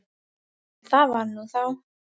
En það var nú þá.